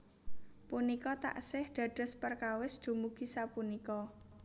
Punika taksih dados perkawis dumugi sapunika